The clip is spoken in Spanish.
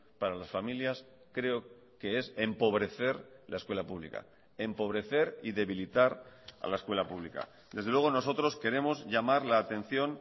para las familias creo que s empobrecer la escuela pública empobrecer y debilitar a la escuela pública desde luego nosotros queremos llamar la atención